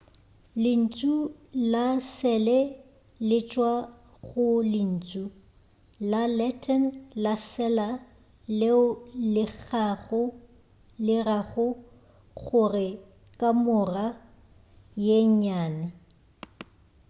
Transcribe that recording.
lentšu la sele le tšwa go lentšu la latin la cella leo le rago gore kamora ye nnyane